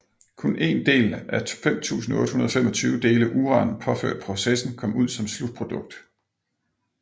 Kun 1 del af 5825 dele uran påført processen kom ud som slutprodukt